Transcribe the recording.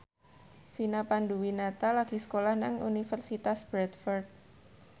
Vina Panduwinata lagi sekolah nang Universitas Bradford